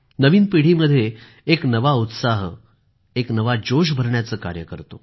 नवीन पिढीमध्ये एक नवा उत्साह आणि जोश भरण्याचं कार्य करतो